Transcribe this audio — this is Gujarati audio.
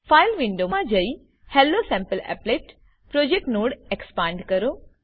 ફાઈલ વિન્ડો મા જયી હેલોસેમ્પલીપલેટ પ્રોજેક્ટ નોડ એક્સપાંડ કરો